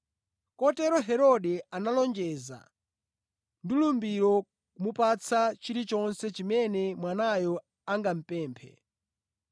Kotero Herode analonjeza ndi lumbiro kumupatsa chilichonse chimene mwanayo angamupemphe.